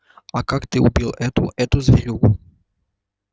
а как ты убил эту эту зверюгу